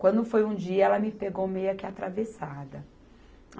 Quando foi um dia, ela me pegou meia que atravessada.